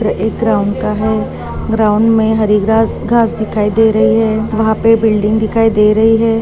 यह चित्र एक ग्राउंड का है ग्राउंड मे हरी ग्रास घास दिखाई दे रही है वह पे बिल्डिंग दिखाई दे रही है।